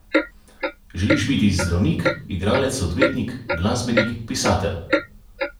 Želiš biti zdravnik, igralec, odvetnik, glasbenik, pisatelj?